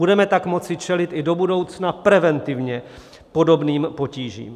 Budeme tak moci čelit i do budoucna preventivně podobným potížím.